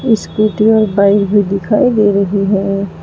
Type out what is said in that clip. Scooty और bike भी दिखाई दे रही है।